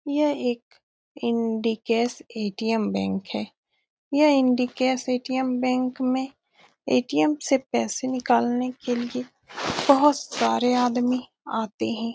यह एक Indicash ATM. Bank है यह इंडिकैश ए.टी.एम. बैंक में ए.टी.एम. से पैसे निकलने के लिए बहुत सारे आदमी आते हैं ।